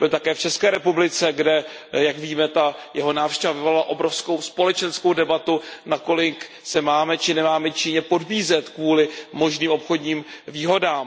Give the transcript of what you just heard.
Byl také v České republice, kde, jak víme, jeho návštěva vyvolala obrovskou společenskou debatu, nakolik se máme či nemáme Číně podbízet kvůli možným obchodním výhodám.